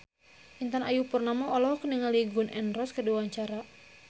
Intan Ayu Purnama olohok ningali Gun N Roses keur diwawancara